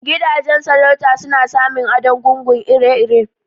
Gidajen sarauta suna samin adon gungun ire irw